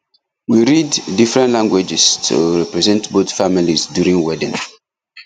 we read different languages to represent both families during wedding